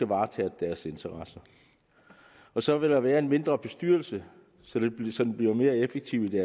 varetage deres interesser så vil der være en mindre bestyrelse som bliver mere effektiv i